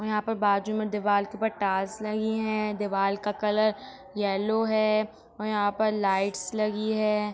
और यहाँ बाजु में दीवाल के ऊपर पर टाइल्स रही है दीवाल का कलर येलो है और यहाँ पर लाइट्स लगी है।